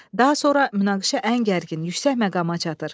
Daha sonra münaqişə ən gərgin, yüksək məqama çatır.